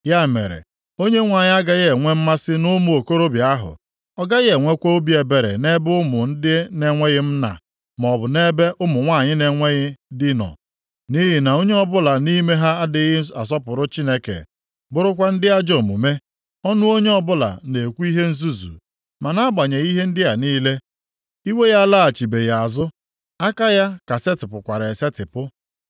Ya mere, Onyenwe anyị agaghị enwe mmasị nʼụmụ okorobịa ahụ, ọ gaghị enwekwa obi ebere nʼebe ụmụ ndị na-enweghị nna maọbụ nʼebe ụmụ nwanyị na-enweghị dị nọ, nʼihi na onye ọbụla nʼime ha adịghị asọpụrụ Chineke, bụrụkwa ndị ajọ omume, ọnụ onye ọbụla na-ekwu ihe nzuzu. Ma nʼagbanyeghị ihe ndị a niile, iwe ya alaghachibeghị azụ, aka ya ka setịpụkwara esetipụ.